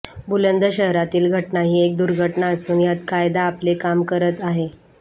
बुलंदशहरातील घटना ही एक दुर्घटना असून यात कायदा आपले काम करत आहे